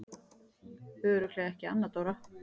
Örugglega ekki Anna Dóra?